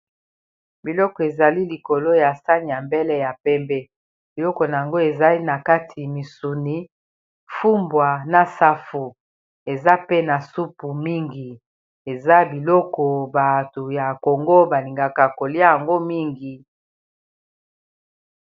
Biloko ezali likolo ya sani ya mbele ya pembe biloko na yango ezali na kati misuni fumbwa na safu eza pe na supu mingi eza biloko bato ya kongo balingaka kolia yango mingi